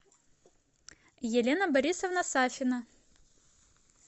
елена борисовна сафина